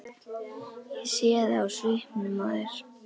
Ég sé það á svipnum á þér.